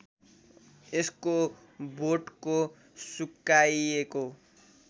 यसको बोटको सुकाइएको